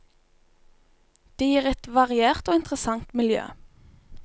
Det gir et variert og interessant miljø.